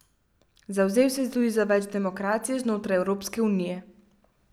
Zavzel se je tudi za več demokracije znotraj Evropske unije.